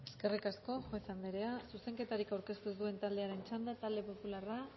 eskerrik asko juez anderea zuzenketarik aurkeztu dituzten taldeen txanda talde popularra